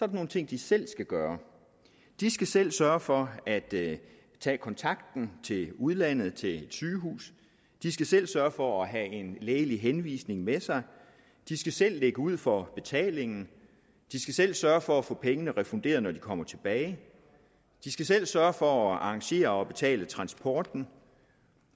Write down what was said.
nogle ting de selv skal gøre de skal selv sørge for at tage kontakten til udlandet til et sygehus de skal selv sørge for at have en lægelig henvisning med sig de skal selv lægge ud for betalingen de skal selv sørge for at få pengene refunderet når de kommer tilbage de skal selv sørge for at arrangere og betale transporten